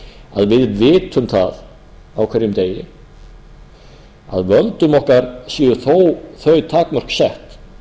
að við vitum það á hverjum degi að völdum okkar séu þó þau takmörk sett